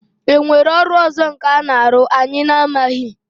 E nwere ọrụ ọzọ nkà na-arụ anyị na-amaghị?